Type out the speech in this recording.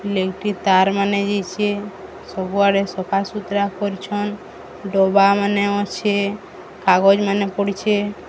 ଲେଉଟି ତାର ମାନେ ଯାଇଛି ସବୁଆଡେ ସଫାସୁତୁରା କରିଛନ ଡବାମାନେ ଅଛେ କାଗଜ ମାନେ ପଡ଼ିଛେ --